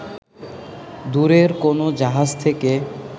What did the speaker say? দূরের কোনো জাহাজ থেকে